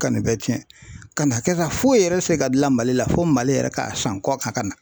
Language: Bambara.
Ka nin bɛɛ cɛn ka na kɛ ka foyi yɛrɛ tɛ se ka gilan Mali la fo Mali yɛrɛ k'a san kɔkan ka na.